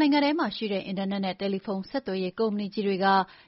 နိုင်ငံထဲမှာရှိတဲ့ အင်တာနက်နဲ့ တယ်လီဖုန်းဆက်သွယ်ရေးကုမ္ပဏီကြီးတွေက